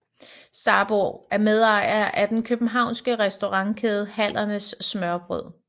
Sarbo er medejer af den københavnske restaurantkæde Hallernes Smørrebrød